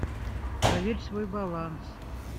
проверь свой баланс